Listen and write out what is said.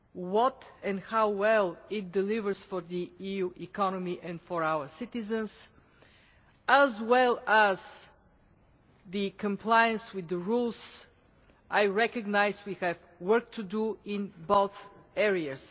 What and how well it delivers for the EU economy and for our citizens, as well as the compliance with the rules I recognise we have work to do in both areas.